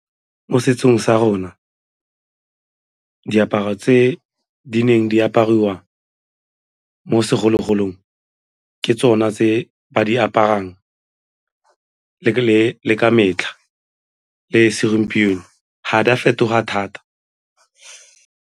Mo setsong sa rona, diaparo tse di neng di apariwa mo segologolong ke tsona tse ba di aparang le ka metlha le segompieno ga di a fetoga thata.